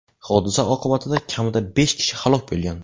Hodisa oqibatida kamida besh kishi halok bo‘lgan.